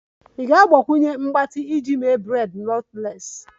Ị ga-agbakwunye mgbatị iji mee braids knotless?